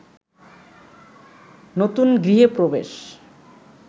নতুন গৃহে প্রবেশ